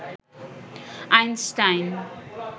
Einstein